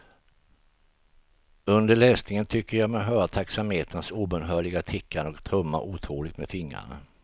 Under läsningen tycker jag mig höra taxameterns obönhörliga tickande och trummar otåligt med fingrarna.